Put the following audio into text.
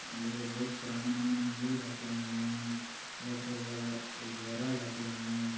लोह बहुत पुराना मंदिर हके हैं ये चौबगल घेरल हके हैं ।